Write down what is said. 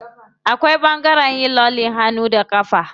Akwai ɓangaren yin lallen hannu da ƙafa.